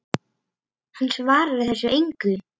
Hann svarar þessu engu.